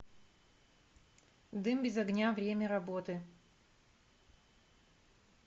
дым без огня время работы